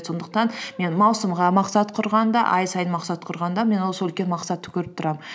сондықтан мен маусымға мақсат құрғанда ай сайын мақсат құрғанда мен осы үлкен мақсатты көріп тұрамын